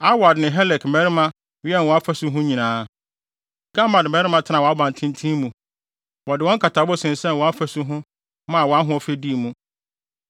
Arwad ne Helek mmarima wɛn wʼafasu ho nyinaa Gammad mmarima tenaa wʼabantenten mu. Wɔde wɔn nkatabo sensɛn wʼafasu ho maa wʼahoɔfɛ dii mu.